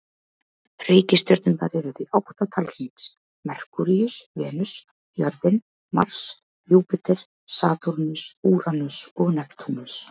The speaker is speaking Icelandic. Reikistjörnurnar eru því átta talsins: Merkúríus, Venus, jörðin, Mars, Júpíter, Satúrnus, Úranus og Neptúnus.